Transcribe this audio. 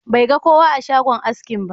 Bai ga kowa a shogan askin ba.